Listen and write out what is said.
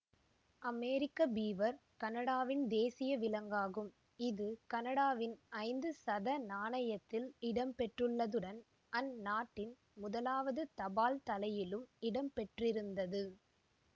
அமெரிக்க beaver கனடாவின் தேசிய விலங்காகும் இது கனடாவின் ஐந்து சத நாணயத்தில் இடம் பெற்றுள்ளதுடன் அந் நாட்டின் முதலாவது தபால்தலையிலும் இடம் பெற்றிருந்தது